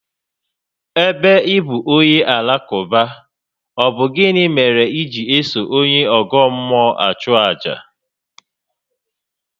Ébé ị bụ onye Alakụba, ọ bụ gịnị mèrè iji eso onye ọ́gọ́ mmụọ achu àjà?